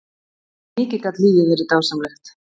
Mikið gat lífið verið dásamlegt.